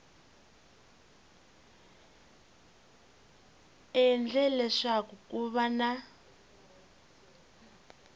endle leswaku ku va na